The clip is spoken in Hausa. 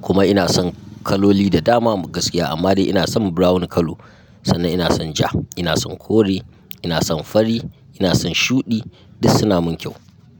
kuma ina son kaloli da dama gaskiya amma dai ina son brown colour. Sannan ina son ja, ina son kore, ina son fari, ina son shuɗi duk suna mun kyau.